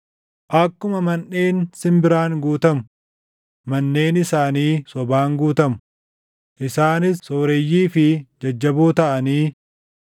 Akkuma manʼeen simbiraan guutamu, manneen isaanii sobaan guutamu; isaanis sooreyyii fi jajjaboo taʼanii,